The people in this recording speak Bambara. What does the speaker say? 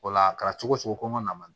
O la a kɛra cogo cogo ko ma na